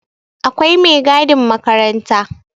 Akwai megadin makaranta